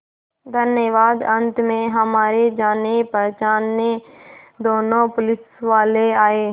धन्यवाद अंत में हमारे जानेपहचाने दोनों पुलिसवाले आए